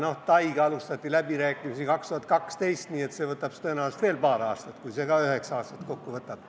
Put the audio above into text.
Aga Taiga alustati läbirääkimisi 2012, nii et see võtab tõenäoliselt veel paar aastat, kui see ka kokku üheksa aastat võtab.